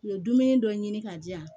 U ye dumuni dɔ ɲini ka di yan